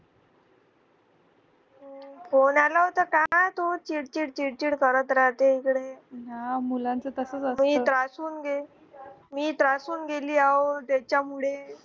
phone आला होता का तो चीड चीड चीड चीड करत राहतो मी त्रासून गेली अहो त्याच्यामुळे